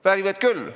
Väärivad küll.